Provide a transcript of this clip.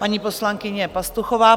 Paní poslankyně Pastuchová.